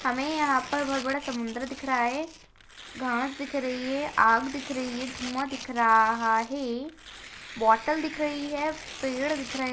हमें यहाँ पर बहुत बड़ा समुद्र दिख रहा है घास दिख रही है आग दिख रही है धुआँ दिख रहा है बॉटल दिख रही है पेड़ दिख रहे हैं--।